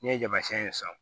N'i ye jamasiyɛn ye sisan